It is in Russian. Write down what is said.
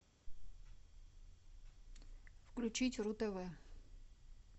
включить ру тв